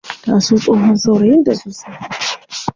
Ta so tsohon saurayin ta sosai.